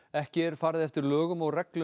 ekki er farið eftir lögum og reglum